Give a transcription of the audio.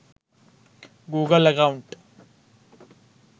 google account